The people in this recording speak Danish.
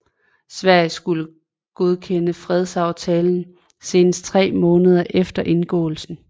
Sverige skulle godkende fredsaftalen senest tre måneder efter indgåelsen